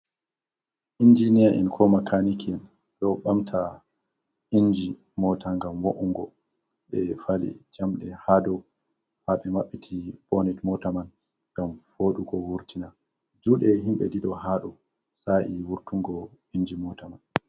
Injiniya en ko makaniki en ɗo ɓamta inji mota ngam mo’ungo ɓe fali jamɗe ha dow haɓe mabbiti bonet mota man ngam fooɗugo wurtina. Juɗe himɓe ɗiɗo haɗo sa'e wurtungo inji mota man.